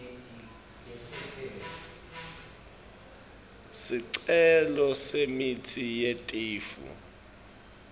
sicelo semitsi yetifo